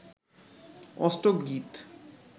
অষ্টক গীত